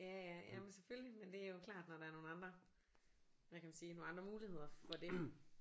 Ja ja jamen selvfølgelig men det er jo klart når der er nogle andre hvad kan man sige nogle andre muligheder for det